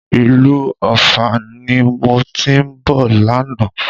Ìlú Ọ̀fà ni mo ti ń bọ̀ lánàá